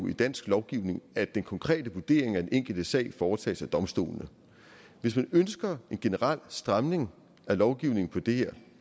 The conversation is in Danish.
i dansk lovgivning at den konkrete vurdering af den enkelte sag foretages af domstolene hvis man ønsker en generel stramning af lovgivningen på det her